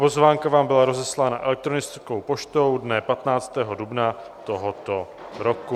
Pozvánka vám byla rozeslána elektronickou poštou dne 15. dubna tohoto roku.